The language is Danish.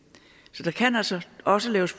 så der kan altså også laves